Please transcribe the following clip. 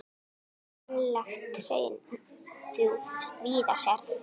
Ferlegt hraun þú víða sérð.